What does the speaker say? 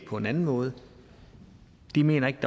på en anden måde de mener ikke